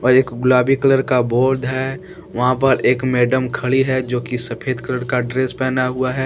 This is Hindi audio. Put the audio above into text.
एक गुलाबी कलर का बोर्ड है वहां पर एक मैडम खड़ी है जो की सफेद कलर का ड्रेस पहना हुआ है।